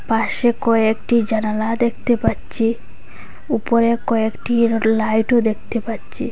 পাশে কয়েকটি জানালা দেখতে পাচ্ছি ওপরে কয়েকটির লাইট ও দেখতে পাচ্ছি।